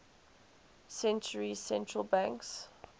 centuries central banks